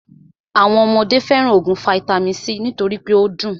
Àwọn ọmọdé fẹràn óògùn vaitami c nítorí pé o dùn.